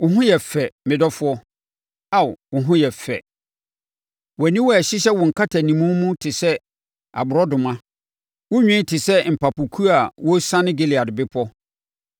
Wo ho yɛ fɛ, me dɔfoɔ! Ao, wo ho yɛ fɛ! Wʼaniwa a ɛhyehyɛ wo nkatanimu mu no te sɛ aborɔnoma. Wo nwi te sɛ mpapokuo a wɔresiane Gilead Bepɔ.